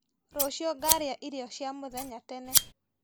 Rũciũ ngarĩa irio cia mũthenya tene.